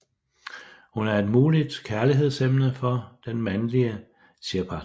Hun er et muligt kærligheds emne for den mandelige Shepard